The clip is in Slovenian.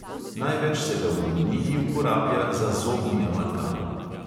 Največ se ga v uniji uporablja za zobni amalgam.